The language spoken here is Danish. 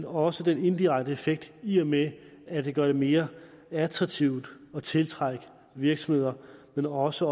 også den indirekte effekt i og med at det gør det mere attraktivt at tiltrække virksomheder men også